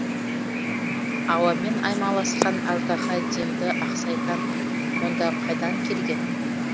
ауамен аймаласқан аждаһа демді ақсайтан мұнда қайдан келген